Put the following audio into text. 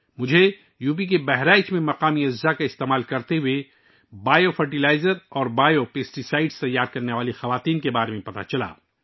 مجھے اتر پردیش کے بہرائچ میں مقامی اجزا کا استعمال کرتے ہوئے بائیو فرٹیلائزر اور بایو پیسٹی سائیڈ تیار کرنے والی خواتین کے بارے میں پتہ چلا